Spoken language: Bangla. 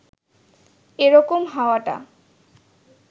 এ রকম হওয়াটা